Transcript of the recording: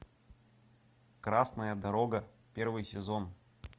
красная дорога первый сезон